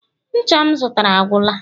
ncha m zụtara agwụla